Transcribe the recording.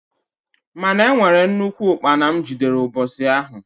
Mana e nwere nnukwu ukpana m jidere mbosi ahụ.